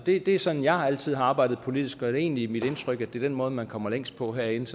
det er sådan jeg altid har arbejdet politisk og det er egentlig mit indtryk at det er den måde man kommer længst på herinde